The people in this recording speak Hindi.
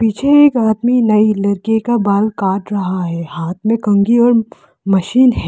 मुझे एक आदमी नाई लड़के का बाल काट रहा है हाथ में कन्घी और मशीन है।